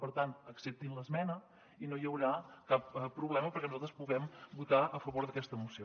per tant acceptin l’esmena i no hi haurà cap problema perquè nosaltres puguem votar a favor d’aquesta moció